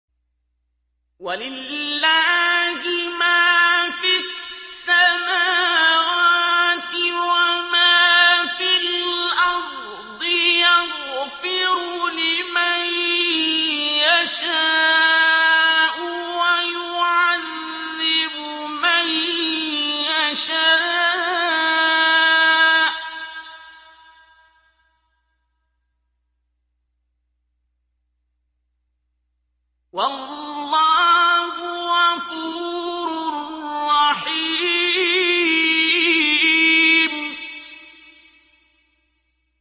وَلِلَّهِ مَا فِي السَّمَاوَاتِ وَمَا فِي الْأَرْضِ ۚ يَغْفِرُ لِمَن يَشَاءُ وَيُعَذِّبُ مَن يَشَاءُ ۚ وَاللَّهُ غَفُورٌ رَّحِيمٌ